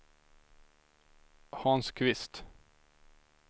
Hans Kvist